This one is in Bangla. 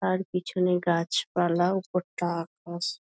আর পেছনে গাছপালা ওপরটা আকাশ।